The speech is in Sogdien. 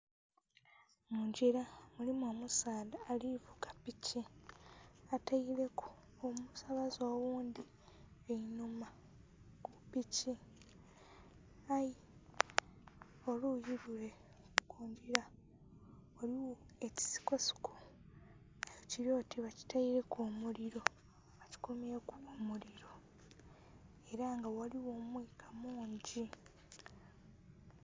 Mungila mulimu omusaadha ali vuga piki, ataileku omusabaze oghundhi einhuma ku piki, aye oluyi lule ku ngila eliyo ekisikosiko nga kili oti bakitaileku omulilo, bakikumyeku omulilo ela nga ghaligho omuka mungi.